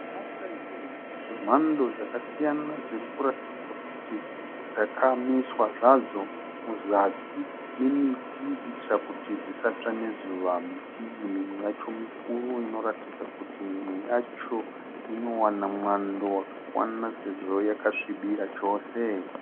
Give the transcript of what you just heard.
Mota zhinji dzemhando dzakasiyana dzirikuratidza kuti dzakamiswa zvadzo muzasi memiti kuitira kuti dzisatsva nezuva. Miti iyi mimwe yacho mikuru inoratidza kuti mimwe yacho inowana mwando wakakwana sezvo yakasvibira chose.